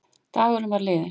Dagurinn var liðinn.